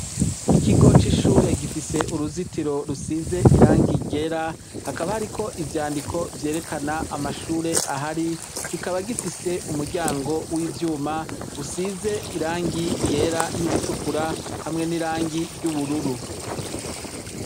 Ikigo c'ishure gifise uruzitiro rusize irangi ryera hakaba hariko ivyandiko vyerekana amashure ahari, kikaba gifise umuryango w'ivyuma usize irangi ryera n'iritukura hamwe n'irangi ryubururu.